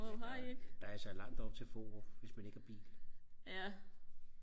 ja der der er altså langt op til Fårup hvis man ikke har bil